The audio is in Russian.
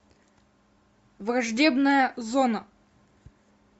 враждебная зона